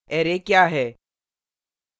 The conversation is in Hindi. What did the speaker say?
array क्या है